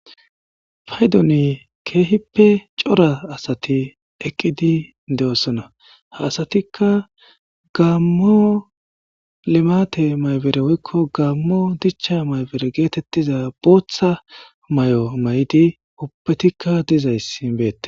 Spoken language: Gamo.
Faydoni keehippe cora asati eqqidi de7osona ha asatikka gaammo lemate maybere woykko gammo dicha maybere geetettiza booththa may7o may7di ubbetikka dizayssin beette.